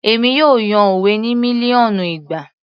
Èmi yóò yan òwe ní mílíọ̀nù ìgbà